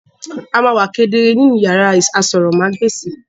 A ma wa kedere ni iyàrá àsòrọmagbesi.